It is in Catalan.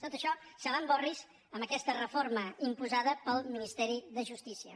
tot això se’n va en orris amb aquesta reforma imposada pel ministeri de justícia